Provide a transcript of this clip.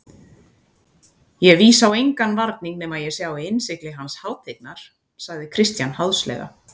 Ég vísa á engan varning nema ég sjái innsigli hans hátignar, sagði Christian háðslega.